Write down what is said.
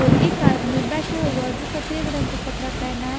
और एक आदमी बैठा हुआ जो सफेद रंग का कपड़ा पेहना है।